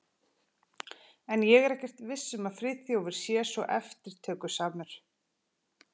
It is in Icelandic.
En ég er ekkert viss um að Friðþjófur sé svo eftirtökusamur.